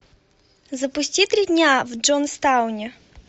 запусти три дня в джонстауне